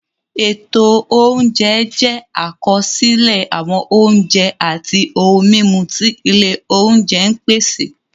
Ètò oúnjẹ jẹ́ àkọsílẹ̀ àwọn oúnjẹ àti ohun-mímu tí ilé oúnjẹ ń pèsè.